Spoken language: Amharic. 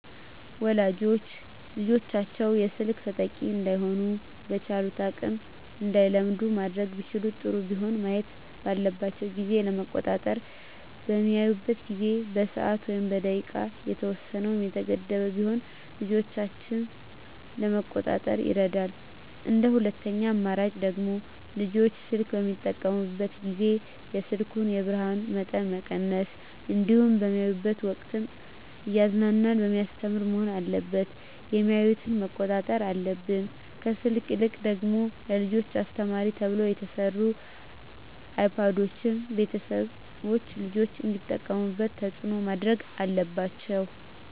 ወላጆች ልጆቻቸውን የስልክ ተጠቂ እዳይሆኑ በቻሉት አቅም እንዳይለምዱ ማድረግ ቢችሉ ጥሩ ቢሆንም ማየት ባለባቸው ጊዜ ለመቆጣጠር በሚያዩበት ጊዜ በሰዓት ወይም በደቂቃ የተወሰነ ወይም የተገደበ ቢሆን ልጆችን ለመቆጣጠር ይረዳል እንደ ሁለተኛ አማራጭ ደግሞ ልጆች ስልክ በሚጠቀሙበት ጊዜ የስልኩን የብርሀኑን መጠን መቀነስ እንዲሁም በሚያዩበት ወቅትም እያዝናና በሚያስተምር መሆን አለበት የሚያዮትን መቆጣጠር አለብን። ከስልክ ይልቅ ደግሞ ለልጆች አስተማሪ ተብለው የተሰሩ አይፓዶችን ቤተሰቦች ልጆች እንዲጠቀሙት ተፅዕኖ ማድረግ አለባቸው።